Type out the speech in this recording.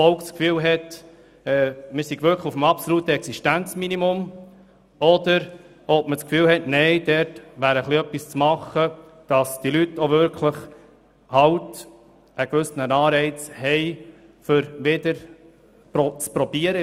So wäre zu erfahren, ob das Volk den Eindruck hat, das absolute Existenzminimum sei erreicht, oder aber dies sei nicht der Fall und es lasse sich noch etwas machen, damit die Leute einen gewissen Anreiz haben, um wieder in die Arbeitswelt einzusteigen.